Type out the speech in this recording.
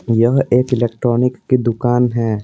यह एक इलेक्ट्रॉनिक की दुकान है।